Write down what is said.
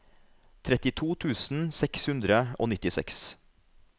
trettito tusen seks hundre og nittiseks